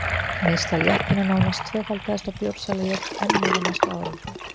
Neysla léttvína nánast tvöfaldaðist og bjórsalan jókst enn meira á næstu árum.